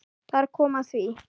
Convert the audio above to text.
Þar kom að því!